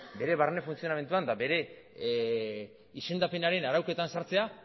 bere barne funtzionamenduan bere izendapenaren arauketan sartzea